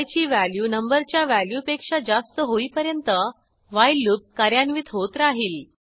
I ची value numberच्या value पेक्षा जास्त होईपर्यंत व्हाईल लूप कार्यान्वित होत राहिल